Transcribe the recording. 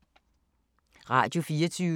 Radio24syv